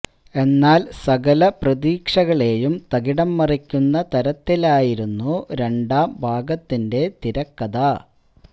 എന്നാല് സകല പ്രതീക്ഷകളെയും തകിടം മറിക്കുന്ന തരത്തിലായിരുന്നു രണ്ടാം ഭാഗത്തിന്റെ തിരക്കഥ